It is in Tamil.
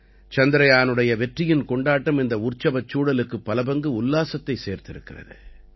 சந்திரயானுடைய வெற்றியின் கொண்டாட்டம் இந்த உற்சவச் சூழலுக்கு பல பங்கு உல்லாசத்தைச் சேர்த்திருக்கிறது